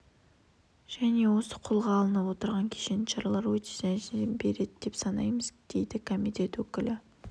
және осы қолға алынып отырған кешенді шаралар өз нәтижесін береді деп санаймыз дейді комитет өкілі